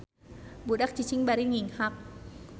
Budak cicing bari nginghak.